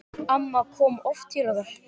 Amma kom oft til okkar.